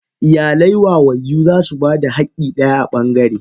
Iyalai wayayyu zasu bada hakki daya a bangare.